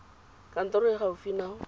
kantorong e e gaufi nao